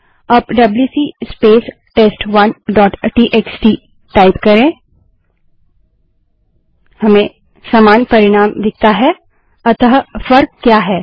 अब WC space test one dot TXT WC space test one dot TXT type करें हमें समान परिणाम दिखता है अतः फर्क क्या है